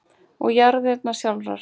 og jarðarinnar sjálfrar.